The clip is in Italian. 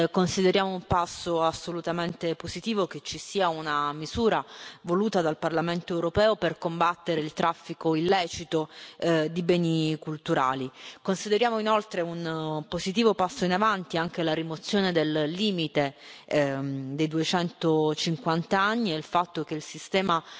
Consideriamo un passo assolutamente positivo che ci sia una misura, voluta dal Parlamento europeo, per combattere il traffico illecito di beni culturali. Consideriamo inoltre un positivo passo in avanti anche la rimozione del limite dei 250 anni e il fatto che il sistema